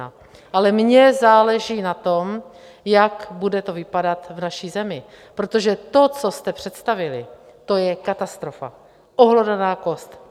Ale mně záleží na tom, jak bude to vypadat v naší zemi, protože to, co jste představili, to je katastrofa, ohlodaná kost.